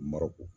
Marɔku